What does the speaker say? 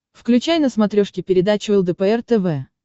включай на смотрешке передачу лдпр тв